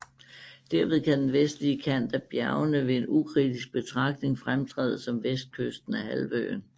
Derved kan den vestlige kant af bjergene ved en ukritisk betragtning fremtræde som vestkysten af halvøen